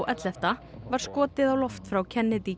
ellefta var skotið á loft frá Kennedy